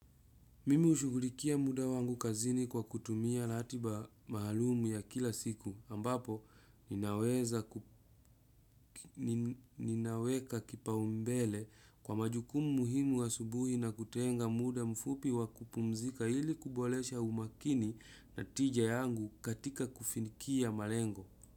Mimi hushughulikia muda wangu kazini kwa kutumia latiba maalum ya kila siku ambapo ninaweza ninaweka kipaumbele kwa majukumu muhimu asubui na kutenga muda mfupi wa kupumzika ili kubolesha umakini na tija yangu katika kufinkia marengo.